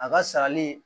A ka sarali